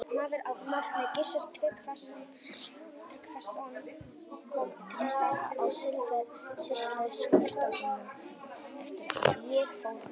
Maður að nafni Gissur Tryggvason kom til starfa á sýsluskrifstofuna eftir að ég fór þaðan.